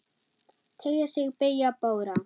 Teygja sig, beygja, bogra.